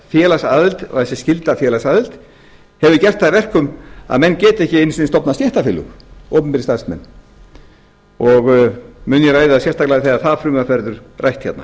félagsaðild og þessi skylda að félagsaðild hefur gert það að verkum að menn geta ekki einu sinni stofnað stéttarfélög opinberir starfsmenn mun ég ræða það sérstaklega þegar það frumvarp verður rætt hérna